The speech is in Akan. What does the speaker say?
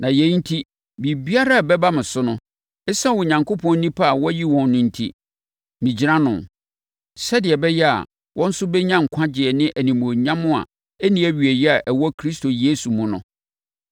na yei enti, biribiara a ɛbɛba me so no, ɛsiane Onyankopɔn nnipa a wayi wɔn no enti, megyina ano, sɛdeɛ ɛbɛyɛ a wɔn nso bɛnya nkwagyeɛ ne animuonyam a ɛnni awieeɛ a ɛwɔ Kristo Yesu mu no.